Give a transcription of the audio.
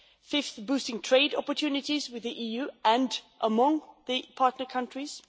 fifthly, boosting trade opportunities with the EU and among the partner countries